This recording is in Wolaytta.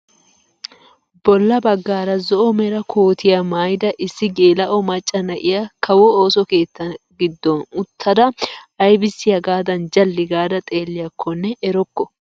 Bolla baggaara zo'o mera kootiyaa maayida issi geela'o macca na'iyaa kawo ooso keettaa giddon uttada aybissi hagaadan jalli gaada xeelliyakonne erokko!